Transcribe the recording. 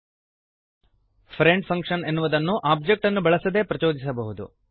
friend function ಎನ್ನುವುದನ್ನು object ಅನ್ನು ಬಳಸದೇ ಪ್ರಚೋದಿಸಬಹುದು